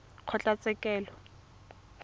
kgotlatshekelo